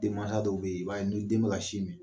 Den mansa dɔw bɛ yen i b'a ye ni den bɛ ka sin min